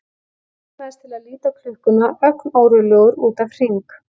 Ég laumast til að líta á klukkuna ögn órólegur út af Hring.